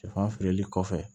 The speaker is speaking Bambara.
Sɛfan feereli kɔfɛ